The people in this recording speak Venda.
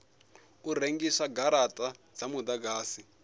u rengisa garata dza mudagasi